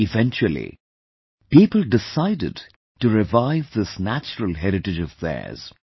Eventually, people decided to revive this natural heritage of theirs